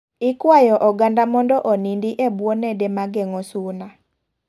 Ikwayo oganda mondo onindi e buo nede mageng'o suna.